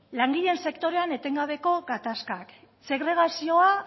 langileen sektorean etengabeko gatazkak segregazioa